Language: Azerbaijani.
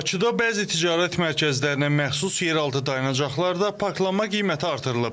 Bakıda bəzi ticarət mərkəzlərinə məxsus yer altı dayanacaqlarda parklanma qiyməti artırılıb.